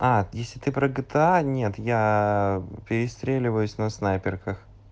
а если ты про гта нет я перестреливаюсь на снайперках